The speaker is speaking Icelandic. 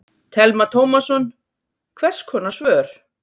Telma Tómasson: Hvers konar svör?